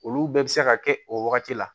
Olu bɛɛ bɛ se ka kɛ o wagati la